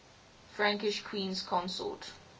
frankish queens consort